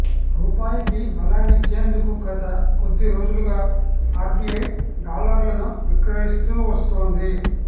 రూపాయికి బలాన్నిచ్చేందుకు గత కొద్ది రోజులుగా ఆర్బిఐ డాలర్లను విక్రయిస్తూ వస్తోంది